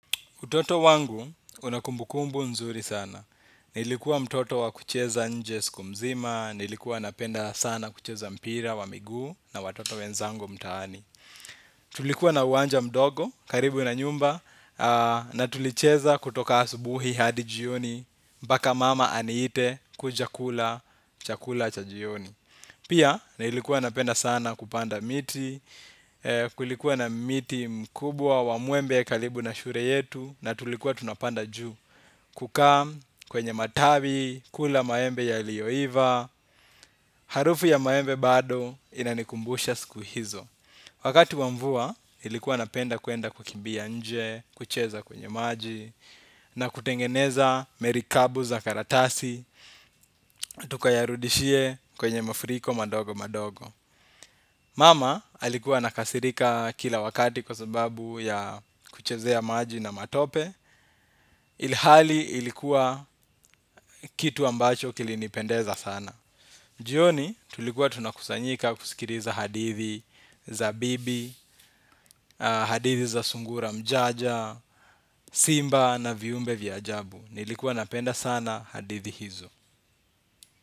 Utoto wangu una kumbukumbu nzuri sana. Nilikuwa mtoto wa kucheza nje siku mzima, nilikuwa napenda sana kucheza mpira wa miguu na watoto wenzangu mtaani. Tulikuwa na uwanja mdogo, karibu na nyumba, na tulicheza kutoka asubuhi hadi jioni, mpaka mama aniite, kuja kula, chakula cha jioni. Pia na nilikuwa napenda sana kupanda miti, kulikuwa na miti mkubwa wa mwembe karibu na shure yetu na tulikuwa tunapanda juu kukaa kwenye matawi, kula maembe ya ilioiva, harufu ya maembe bado inanikumbusha siku hizo. Wakati wa mvua nilikuwa napenda kuenda kukimbia nje, kucheza kwenye maji, na kutengeneza merikabu za karatasi, tukayarudishie kwenye mafuriko madogo madogo. Mama alikuwa anakasirika kila wakati kwa sababu ya kuchezea maji na matope, ilihali ilikuwa kitu ambacho kilinipendeza sana. Jioni tulikuwa tunakusanyika kusikiriza hadithi za bibi, hadithi za sungura mjanja, simba na viumbe vya jabu. Nilikuwa napenda sana hadithi hizo.